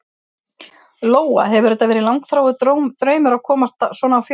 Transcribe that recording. Lóa: Hefur þetta verið langþráður draumur að komast svona á fjöll?